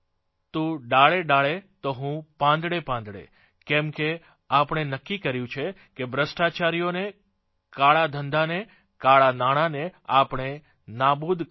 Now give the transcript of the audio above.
તું ડાળે ડાળે તો હું પાંદડે પાંદડે કેમ કે આપણે નક્કી કર્યું છે કે ભ્રષ્ટાચારીઓને કાળાધંધાને કાળાં નાણાંને આપણે નાબૂદ કરવા છે